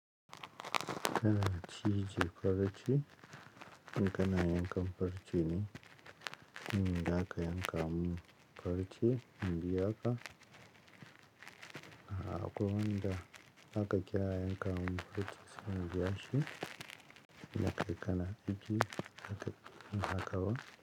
Kana cije farci in kana yankan farci ne, in da aka yanka mun farci in biya ka. A kuwa nan da aka kira yanka mun farci sai in biya shi, na kai kana biyu haka, haka ba?